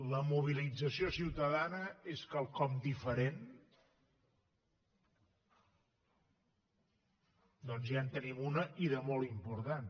la mobilització ciutadana és quelcom diferent doncs ja en tenim una i de molt important